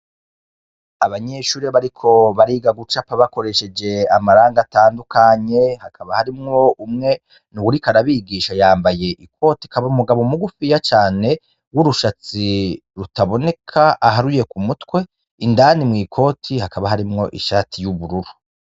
Abanyeshurre bariko bariga gucapa bakoresheje amaranga atandukanye hakaba harimwo umwe ni uwurika arabigisha yambaye ikoti akaba umugabo mugufiya cane w'urushatsi rutaboneka aharuye ku mutwe indani mw'ikoti hakaba harimwo ishati y'ubururu.